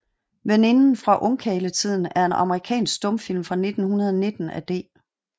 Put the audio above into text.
Veninden fra Ungkarletiden er en amerikansk stumfilm fra 1919 af D